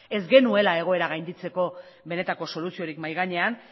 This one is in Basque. ez genuela egoera gainditzeko benetako soluziorik mahai gainean